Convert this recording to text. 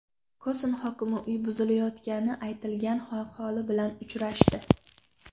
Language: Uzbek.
Koson hokimi uyi buzilayotgani aytilgan aholi bilan uchrashdi.